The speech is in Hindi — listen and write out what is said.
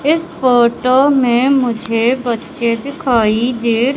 इस फोटो में मुझे बच्चे दिखाई दे--